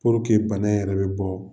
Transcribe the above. bana yɛrɛ be bɔɔ